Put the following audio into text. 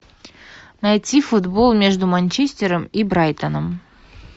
найти футбол между манчестером и брайтоном